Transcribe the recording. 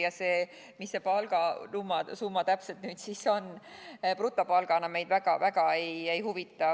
Ja see, mis see palgasumma täpselt on, brutopalgana, meid väga ei huvita.